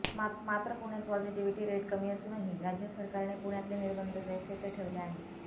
मात्र पुण्यात positivity rate कमी असूनही राज्य सरकारने पुण्यातले निर्बंध जैसे थे ठेवले आहेत